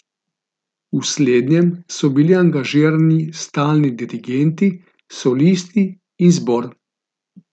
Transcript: V slednjem so bili angažirani stalni dirigenti, solisti in zbor.